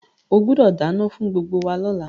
O gbúdọ̀ dánán fún gbgbo wa lọ́la